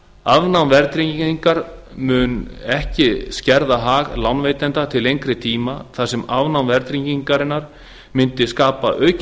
afnám verðtryggingar mun ekki skerða hag lánveitenda til lengri tíma þar sem afnám verðtryggingarinnar mundi skapa aukinn